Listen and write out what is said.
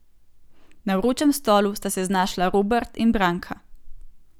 Na vročem stolu sta se znašla Robert in Branka.